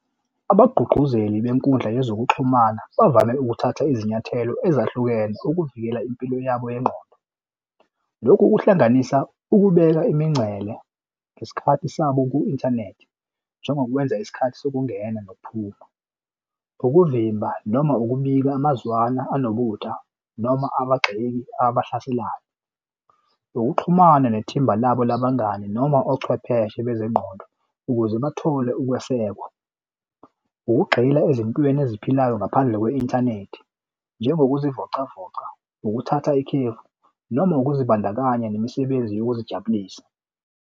Abagqugquzeli benkundla yezokuxhumana bavame ukuthatha izinyathelo ezahlukene ukuvikela impilo yabo yengqondo. Lokhu kuhlanganisa ukubeka imingcele ngesikhathi sabo ku-inthanethi njengokwenza isikhathi zokungena nokuphuma, ukuvimba noma ukubika amazwana anobutha noma abagxeka abahlaselayo nokuxhumana nethimba labo labangani noma ochwepheshe bezengqondo ukuze bathole ukwesekwa, ukugxila ezimpilweni eziphilayo ngaphandle kwe-inthanethi njengokuzivocavoca ukuthatha ikhefu noma ukuzibandakanya nemisebenzi yokuzijabulisa.